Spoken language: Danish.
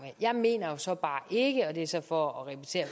jeg mener så bare ikke og det er så for at repetere